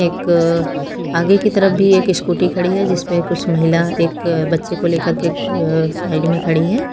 एक आगे की तरफ भी एक स्कूटी खड़ी है जिस पे कुछ महिला एक बच्चे को लेकर के अह साइड में खड़ी हैं।